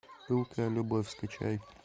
пылкая любовь скачай